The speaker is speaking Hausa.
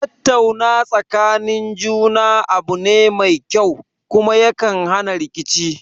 Tattauna tsakanin juna abu ne mai kyau, kuma ya kan hana rikici